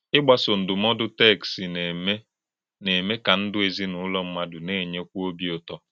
Ìgbàsò ndụ́mòdù téksì na-èmè na-èmè kà ndụ́ èzìnúlò mmádụ na-ènyékwù òbì ụ̀tó.